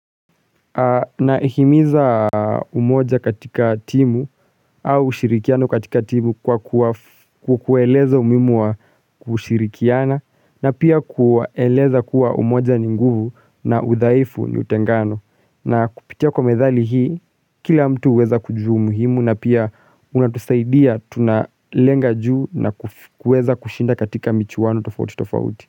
Na himiza umoja katika timu au ushirikiano katika timu kwa kuwaeleza umihimu wa kushirikiana na pia kuwaeleza kuwa umoja ni nguvu na udhaifu ni utengano na kupitia kwa methali hii kila mtu uweza kujua umuhimu na pia unatusaidia tunalenga juu na kuweza kushinda katika michuwano tofauti tofauti.